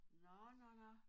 Nå nå nå